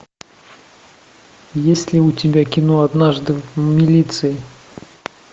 есть ли у тебя кино однажды в милиции